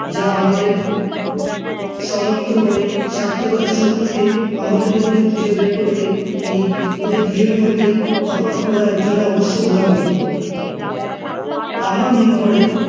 যা আমাদের সমর্থ করে সার্থকতার শত্রুকে আমাদের মধ্যে খুঁজে বের করতে, এই দুইয়ের মধ্যে তফাৎ কোনো একজনের অবশ্যই বোঝা উচিত, আমার মনে পড়ে